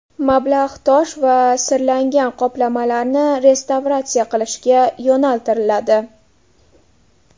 Mablag‘ tosh va sirlangan qoplamalarni restavratsiya qilishga yo‘naltiriladi.